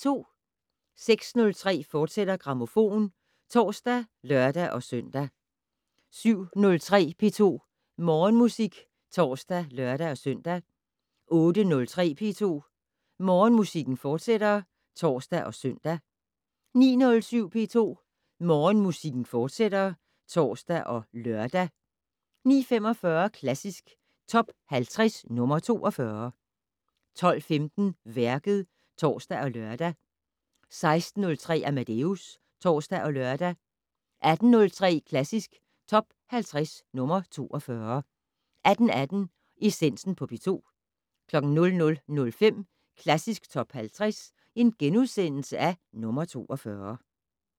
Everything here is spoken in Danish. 06:03: Grammofon, fortsat (tor og lør-søn) 07:03: P2 Morgenmusik (tor og lør-søn) 08:03: P2 Morgenmusik, fortsat (tor og søn) 09:07: P2 Morgenmusik, fortsat (tor og lør) 09:45: Klassisk Top 50 - nr. 42 12:15: Værket (tor og lør) 16:03: Amadeus (tor og lør) 18:03: Klassisk Top 50 - nr. 42 18:18: Essensen på P2 00:05: Klassisk Top 50 - nr. 42 *